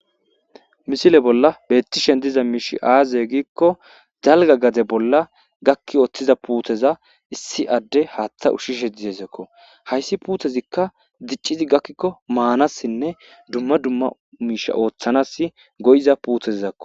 Misile bolla betishe diza mishiy aze gikko dalga gade bolla gaki wothida putteza issi adey hathe ushishe dizaysako haysi puttezika dicidi gakiko manasine duma duma mishe othanas go'iza puttezako